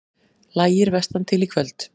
Lægir vestantil Í kvöld